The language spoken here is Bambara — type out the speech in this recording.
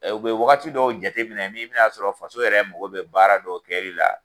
U be wagati dɔw jateminɛ n'i bina a sɔrɔ faso yɛrɛ mɔgɔ be baara dɔw kɛli la